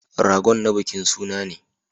Ragon na bikin suna ne.